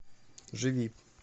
живи